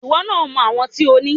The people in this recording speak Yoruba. Ìwọ náà mọ àwọn tí o ní.